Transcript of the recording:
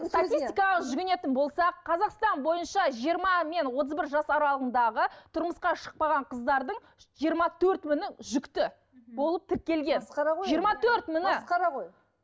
статистикаға жүгінетін болсақ қазақстан бойынша жиырма мен отыз бір жас аралығындағы тұрмысқа шықпаған қыздардың жиырма төрт мыңы жүкті болып тіркелген масқара ғой жиырма төрт мыңы масқара ғой